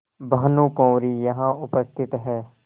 भानुकुँवरि यहाँ उपस्थित हैं